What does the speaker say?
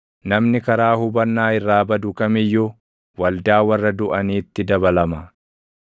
Namni karaa hubannaa irraa badu kam iyyuu waldaa warra duʼaniitti dabalama.